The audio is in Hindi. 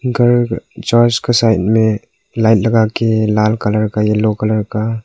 घर जो इसके साइड में लाइन लगा के लाल कलर का येलो कलर का।